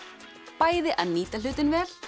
bæði að nýta hlutinn vel